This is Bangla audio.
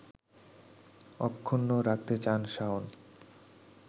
অক্ষুণ্ন রাখতে চান শাওন